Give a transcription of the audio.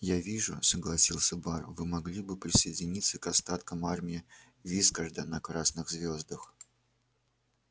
я вижу согласился бар вы могли бы присоединиться к остаткам армии вискарда на красных звёздах